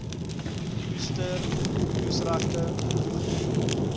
oester oesregte toegeken